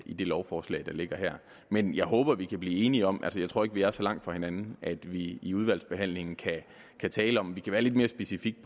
i det lovforslag der ligger her men jeg håber vi kan blive enige om det jeg tror ikke vi er så langt fra hinanden at vi i udvalgsbehandlingen kan tale om det og være lidt mere specifikke